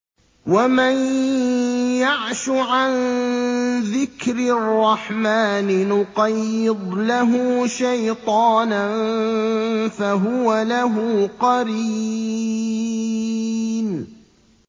وَمَن يَعْشُ عَن ذِكْرِ الرَّحْمَٰنِ نُقَيِّضْ لَهُ شَيْطَانًا فَهُوَ لَهُ قَرِينٌ